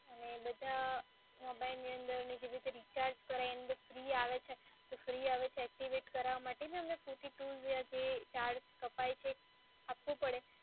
પણ એની અંદરની જે રીતે રિચાર્જ કરાવીએ ફ્રી આવે છે તો ફ્રી આવે છે એક્ટિવેટ કરાવવા માટે જ અમે fourty two જે ચાર્જ કપાય છે આપવો પડે